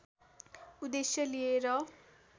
उद्देश्य लिएर